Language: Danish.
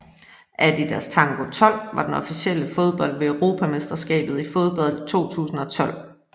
Adidas Tango 12 var den officielle fodbold ved Europamesterskabet i fodbold 2012